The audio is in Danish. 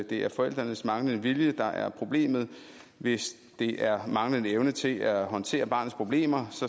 det er forældrenes manglende vilje der er problemet hvis det er manglende evne til at håndtere barnets problemer